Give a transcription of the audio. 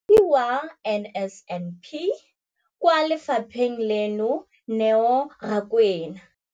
Mokaedi wa NSNP kwa lefapheng leno, Neo Rakwena,